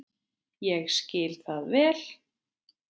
Ég skil það vel.